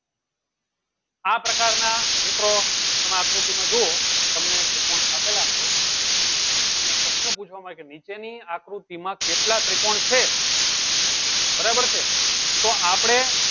આ પ્રકારના મીત્રો તમે આકૃતિમાં જુઓ તમને ત્રિકોણ આપેલા હોય અને પ્રશ્ન પૂછવામાં આવે કે નીચેની આકૃતિમાં કેટલા ત્રિકોણ છે? બરાબર છે તો આપડે